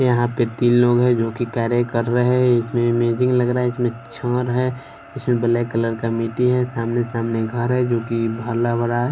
यहां पे तीन लोग हैं जो की कार्य कर रहे हैं इसमें इमेजिंग लग रहा है इसमें छड़ है इसमें ब्लैक कलर का मिट्टी है सामने सामने घर हैं जो कि भला बड़ा है।